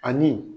Ani